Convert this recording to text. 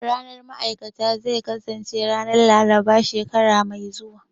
Ranar ma'aikata zai kasance ranar Laraba shekara mai zuwa